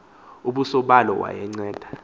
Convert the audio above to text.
ubuso balo wayenceda